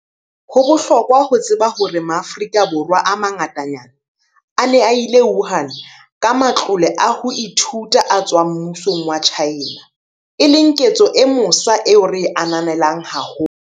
Ho bohlokwa ho tseba hore Maafrika Borwa a mangatanyana a ne a ile Wuhan ka matlole a ho ithuta a tswang mmusong wa China, e leng ketso e mosa eo re e ananelang haholo.